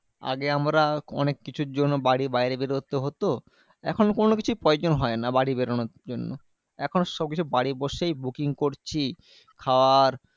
আগে আমরা অনেক কিছুর জন্য বাড়ির বাইরে বের হতে হতো। এখন কোনোকিছুর প্রয়োজন হয় না বাইরে বেরোনোর জন্য। এখন সবকিছু বাড়ি বসেই booking করছি। খাবার